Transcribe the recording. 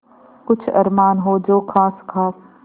कुछ अरमान हो जो ख़ास ख़ास